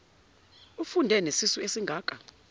ufunde nesisu esingaka